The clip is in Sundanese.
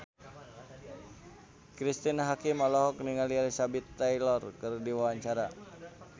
Cristine Hakim olohok ningali Elizabeth Taylor keur diwawancara